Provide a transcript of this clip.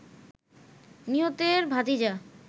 নিহতের ভাতিজা